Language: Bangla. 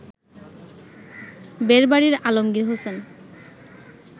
বেড়বাড়ির আলমগীর হোসেন